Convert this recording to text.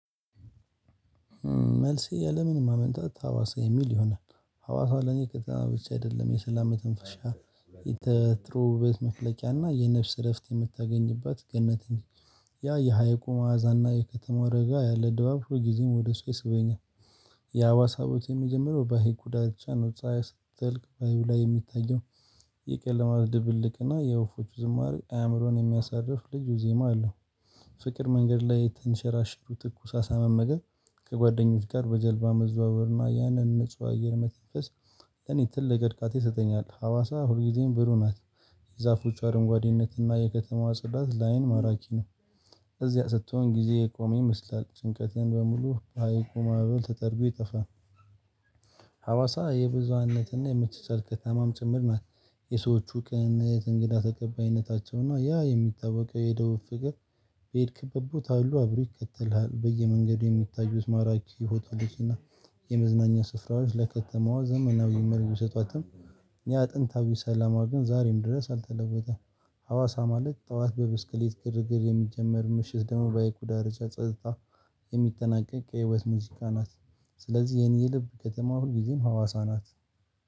መልሴ ያለምንም ማመንታታ ሀዋሳ የሚል ይሆናል ሀዋሳ ለኔ ከተማ ብቻ አደለም የሰላም መተንፈሻ የጥሩ ውበት መፍለቂያ እና የነፍስ እረፍት የምታገኝባት ገነት እንጂ ያ የሀይቁ ማዕዛና የከተማው ረጋ ያለ ድባብ ሁሉ ጊዜም ወደ እሷ ይስበኛል። የሀዋሳ ውበት የሚጀምረው በሀይቁ ዳርቻ ነው ፀሀይ ስትጠልቅ ባህሩ ላይ የሚታየው የቀለማት ድብልቅ እና የወፎቹ ዝማሬ አእምሮን የሚያሳርፍ ልዩ ዜማ አለው። ፍቅር መንገድ ላይ ተንሸራሽሮ ትኩስ አሳ መመገብ። ከጓደኞች ጋር በጀልባ መዘዋወርና ያንን ንጹህ አየር መተንፈስ። ለኔ ትልቅ እርካታ ይሰጠኛል ሀዋሳ ሁልጊዜም ብሩ ናት። ዛፎች አረንጓዴነትና የከተማዋ ጽዳት ላይን ማራኪ ነው። እዚያ ስትሆን ጊዜ የቆመ ይመስላል ጭንቀቴን በሙሉ በሀይቁ ማዕበል ተጠርጎ ይጠፋል። የብዙሃነትና የመቻቻል ከተማም ጭምር ናት። የሰዎቹ ቅንነት እንግዳ ተቀባይነታቸውና እና ያ የሚታወቀው የደቡብ ፍቅር። በሄድክበት ቦታ ሁሉ አብሮ ይከተልሃል። በየመንገዱ የሚታዩት ማራኪ ሆቴሎች እና የመዝናኛ ስፍራዎች ለከተማዋ ዘመናዊ መልክ ቢሰጧትም። ያ ጥንታዊ ሰላሟ ግን ዛሬም ድረስ አልተለወጠም። ሀዋሳ ማለት ጠዋት በብስክሌት ግርግር የሚጀመር ምሽት ደሞ በሀይቁ ዳርቻ ጸጥታ የሚጠናቀቅ የህይወት ሙዚቃ ናት። ስለዚህ የኔ የልብ ከተማ ሁልጊዜም ሀዋሳ ናት።